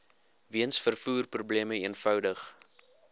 weens vervoerprobleme eenvoudig